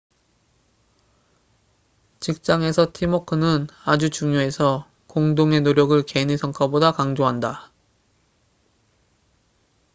직장에서 팀워크는 아주 중요해서 공동의 노력을 개인의 성과보다 강조한다